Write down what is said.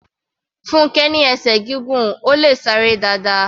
Funkẹ ní esè gígùn, Ó le sá eré dáadáa.